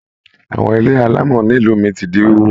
Àwọn ilé alámọ̀ nílu mí tí di wíwó.